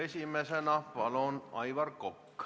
Esimesena palun, Aivar Kokk!